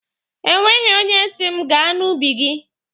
E nweghi onye si m gaa n'ubi gị.